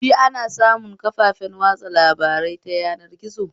Shi ana samun kafafen watsa labarai ta yanar gizo?